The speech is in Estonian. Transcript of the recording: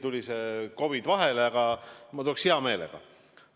Tõsi, see COVID tuli vahele, aga ma tuleks hea meelega.